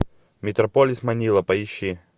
метрополис манила поищи